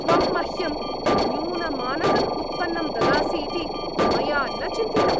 त्वं मह्यं न्यूनमानकम् उत्पन्नं ददासि इति मया न चिन्तितम्।